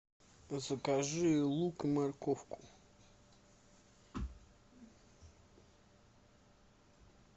закажи лук и морковку